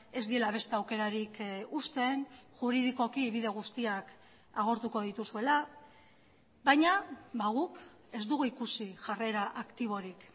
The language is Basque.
ez diela beste aukerarik uzten juridikoki bide guztiak agortuko dituzuela baina guk ez dugu ikusi jarrera aktiborik